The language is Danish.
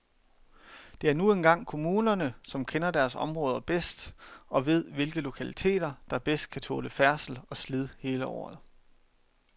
Det er nu engang kommunerne, som kender deres områder bedst og ved, hvilke lokaliteter, der bedst kan tåle færdsel og slid hele året.